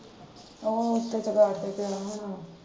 ਉਹ ਕਿਸੇ ਬੈਡ ਦੇ ਕੋਨੇ ਹੋਣਾ।